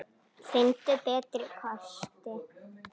Finndu betri kosti!